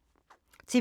TV 2